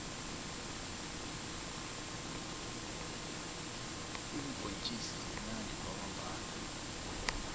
iimbhontjisi zimunandi kwamambhala